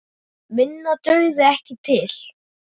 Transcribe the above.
Minna dugði ekki til.